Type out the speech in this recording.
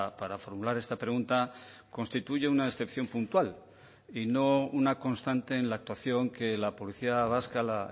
para formular esta pregunta constituye una excepción puntual y no una constante en la actuación que la policía vasca la